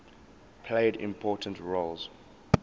played important roles